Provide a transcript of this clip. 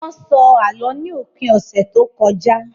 Wọ́n sọ Àlọ́ ní òpin ọ̀sẹ̀ tó kọjá